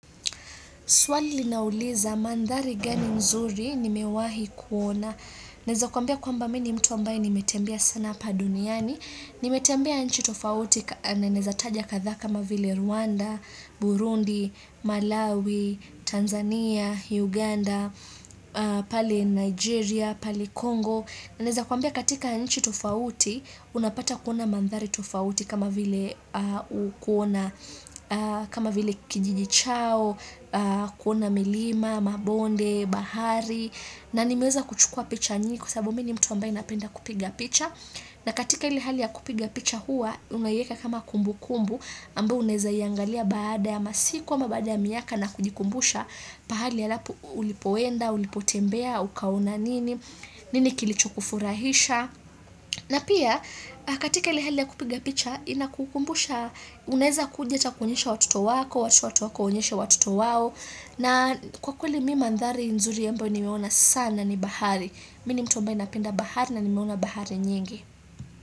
Swali nauliza mandhari gani mzuri ni mewahi kuona. Neza kuambia kwamba mini mtu ambaye nimetembea sana pa duniani. Nimetembea nchi tofauti na neza taja katha kama vile Rwanda, Burundi, Malawi, Tanzania, Uganda, pale Nigeria, pale Congo. Na neza kuambia katika nchi tofauti, unapata kuona mandhari tofauti kama vile kuona, kama vile kijijichao, kuona milima, mabonde, bahari, na nimeza kuchukua picha nyingi kwa sababu mini mtu ambae napenda kupiga picha. Na katika ili hali ya kupiga picha hua, unayeka kama kumbu kumbu, ambayo uneza iangalia baada ya masiku, ama baada ya miyaka na kujikumbusha, pahali ya lapu ulipowenda, ulipotembea, ukaona nini, nini kilichu kufurahisha. Na pia, katika ile hali ya kupiga picha, ina kukumbusha, uneza kuja kuonyesha watoto wako, watoto wa watoto wako, unyesha watoto wawo, na kwa kuli mi mandhari nzuri ambayo ni meona sana ni bahari. Mini mtu ambae napenda bahari na nimeona bahari nyingi.